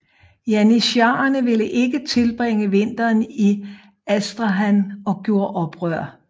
Janitsharerne ville ikke tilbringe vinteren i Astrakhan og gjorde oprør